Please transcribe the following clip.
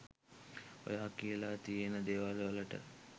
ඔයා කියලා තියෙන දේවල්වලට